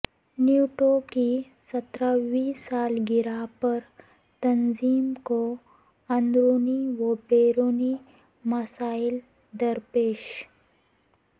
NATO کی سترہویں سالگرہ پر تنظیم کو اندرونی و بیرونی مسائل درپیش